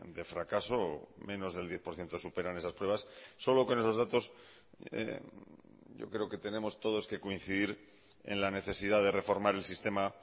de fracaso o menos del diez por ciento superan esas pruebas solo con esos datos yo creo que tenemos todos que coincidir en la necesidad de reformar el sistema